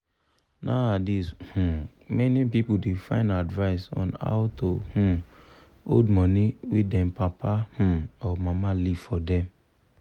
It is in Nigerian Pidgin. nowadays um many people da find advice on how to um hold money wey them papa um or mama leave forr dem